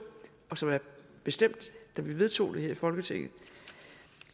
og som er bestemt da vi vedtog det her i folketinget